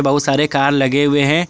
बहुत सारे कार लगे हुए हैं।